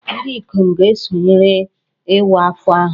Ndị ikom ga-esonyere Iwa Akwa ahụ